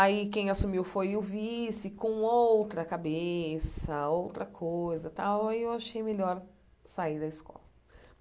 Aí quem assumiu foi o vice com outra cabeça, outra coisa tal, aí eu achei melhor sair da escola.